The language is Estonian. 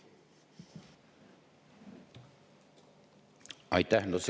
Aitäh!